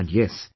And yes